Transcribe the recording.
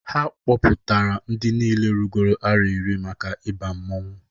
Ha kpọpụtara ndị niine rugoro arọ iri maka ịba mmọnwụ.